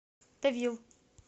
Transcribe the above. тавил